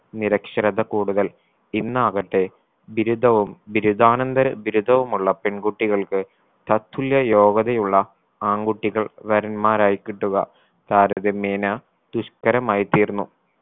നിരക്ഷരത കൂടുതൽ ഇന്നാകട്ടെ ബിരുദവും ബിരുദാനന്തര ബിരുദവുമുള്ള പെൺകുട്ടികൾക്ക് തതുല്യ യോഗ്യതയുള്ള ആൺകുട്ടികൾ വരന്മാരായി കിട്ടുക താരതമ്യേന ദുഷ്കരമായി തീർന്നു.